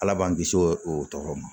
Ala b'an kisi o tɔgɔ ma